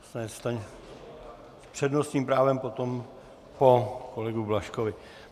S přednostním právem potom, po kolegovi Blažkovi.